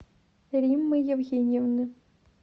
риммы евгеньевны